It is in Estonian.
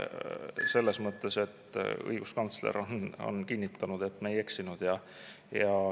Selles mõttes on tore, et õiguskantsler on kinnitanud, et me ei eksinud.